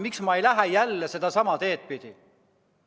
Miks ma ei lähe jälle sedasama teed pidi?